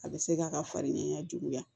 A bɛ se k'a ka farigan juguya